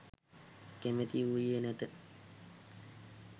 කැමැති වූයේ නැත.